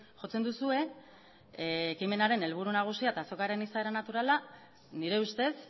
jotzen duzue ekimenaren helburu nagusia eta azokaren izaera naturala nire ustez